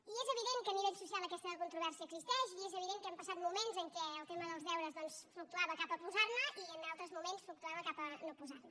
i és evident que a nivell social aquesta controvèrsia existeix i és evident que hem passat moments en què el tema dels deures fluctuava cap a posar ne i en altres moments fluctuava cap a no posar ne